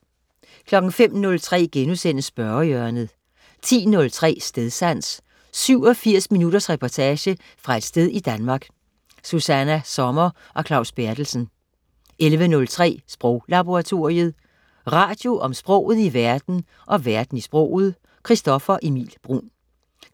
05.03 Spørgehjørnet* 10.03 Stedsans. 87 minutters reportage fra et sted i Danmark. Susanna Sommer og Claus Berthelsen 11.03 Sproglaboratoriet. Radio om sproget i verden og verden i sproget. Christoffer Emil Bruun